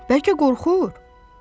Bəlkə qorxur?